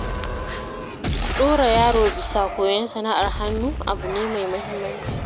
Dora yaro bisa koyon sana'ar hannu, abu ne mai muhimmanci.